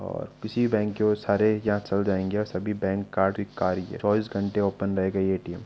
और इसी बैंक के बहुत सारे सभी बैंक कार्ड चोबीस घंटे ओपन रहेगा एटीएम ।